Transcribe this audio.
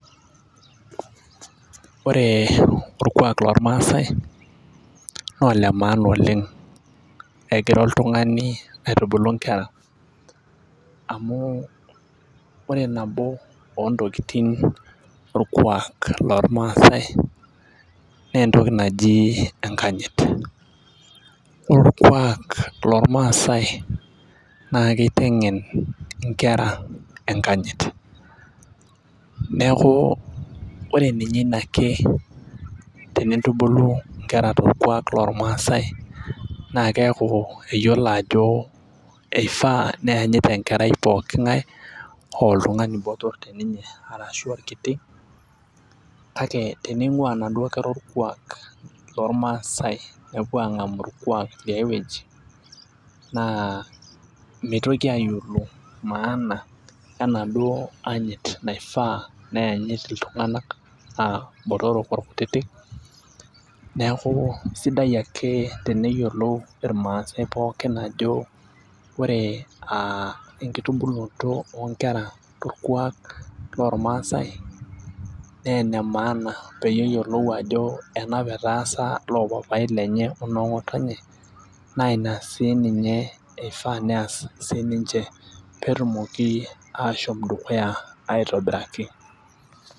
ore orkuak loormaasae naa olemaana oleng. egira oltungani aitubulu nkera. emu ore nabo oontokitin orkuaak loormaasae,,naa entoki naji enkanyit. ore eorkuaak loormaasae naa kitengen nkera enkanyit. neku ore ninye ina ake, tenintubulu nkera torkuaak lormaasae, naa keeku eyiolo ajo eifaa neyanyit enkerai pooki ng'ae aa oltungani botor te ninye arashu orkiti. kake tening'ua inaduo kera orkuaak loormaasae nepuo aang'amu oliae wueji naa meitoki aayiolou maana. enaduo anyit naifaa neyanyit iltunganak. naa ilbotorok olkutitik, neeku sidai ake teneyiolo irmaasae pokin ajo ore aa enkitubulonoto oo nkera torkuaak loormaasae naa ene maana, peyie eyiolou ajo ena apa etaasa loopapai lenye ono ng'otonye. naa ina sii ninye ifaa nees siii ninche. pee etumoki aashom dukuya aitobiraki.